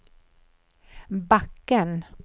backen